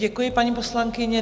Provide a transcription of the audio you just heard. Děkuji, paní poslankyně.